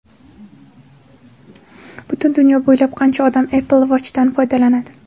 Butun dunyo bo‘ylab qancha odam Apple Watch’dan foydalanadi?